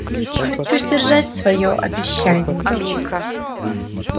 хочу сдержать своё обещание